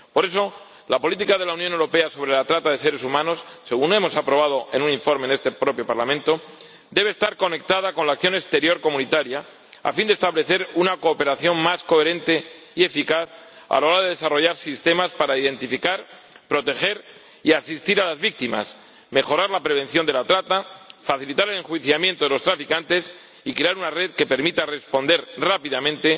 Por eso, la política de la Unión sobre la trata de seres humanos, según hemos aprobado en un informe en este propio Parlamento, debe estar conectada con la acción exterior comunitaria, a fin de establecer una cooperación más coherente y eficaz a la hora de desarrollar sistemas para identificar, proteger y asistir a las víctimas, mejorar la prevención de la trata, facilitar el enjuiciamiento de los traficantes y crear una red que permita responder rápidamente